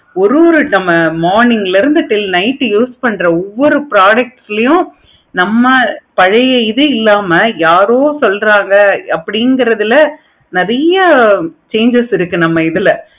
ஒரு ஒரு நம்ம morning ல இருந்து night use பண்ற ஒவ்வொரு product ளையும் நம்ம பழைய இது இல்லாம யாரோ சொல்றாங்க அப்டிங்கிறதுல நெறைய changes இருக்கு நம்ம கிட்ட